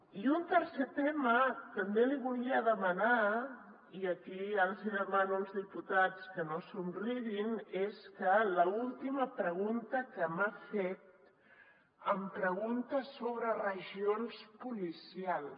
i un tercer tema també li volia demanar i aquí ja els demano als diputats que no somriguin és que a l’última pregunta que m’ha fet em pregunta sobre regions po licials